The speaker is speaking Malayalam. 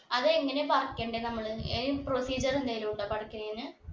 അത് എങ്ങനെ പറിക്കണ്ടേ നമ്മള് അയിന് procedure എന്തേലു ഉണ്ടോ പറിക്കണേന്